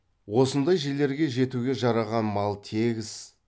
осындай жерлерге жетуге жараған мал тегіс